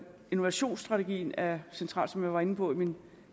innovationsstrategien er central som jeg var inde på i min